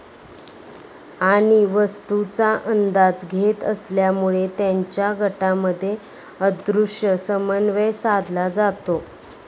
आणि वस्तूचा अंदाज घेत असल्यामुळे, त्यांच्या गटामध्ये अदृश्य समन्वय साधला जातो.